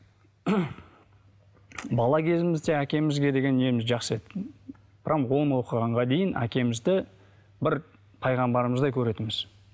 бала кезімізде әкемізге деген неміз жақсы еді прямо он оқығанға дейін әкемізді бір пайғамбарымыздай көретінбіз